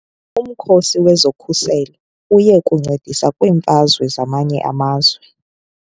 Umkhosi wezokhuselo uye kuncedisa kwiimfazwe zamanye amazwe.